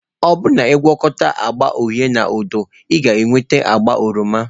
Ọ bụrụ na ị na-agwakọta agba uhie na odo, ị ga-enweta agba oroma.